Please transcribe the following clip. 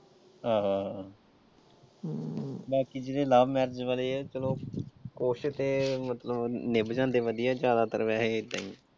ਆਹੋ ਆਹੋ ਬਾਕੀ ਤੇ ਜਿਹੜੇ love marriage ਵਾਲੇ ਆ, ਚਲੋ ਕੁਛ ਤੇ ਮਤਲਬ ਨਿਭ ਜਾਂਦੇ ਵਧੀਆ ਜਿਆਦਾਤਰ ਵੈਸੇ ਏਦਾਂ ਈ।